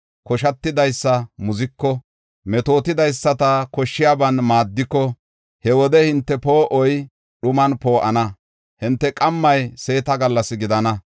Koshatidaysa muziko, metootidaysata koshshiyaban maaddiko, he wode hinte poo7oy dhuman poo7ana; hinte qammay seeta gallas gidana.